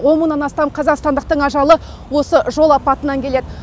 он мыңнан астам қазақстандықтың ажалы осы жол апатынан келеді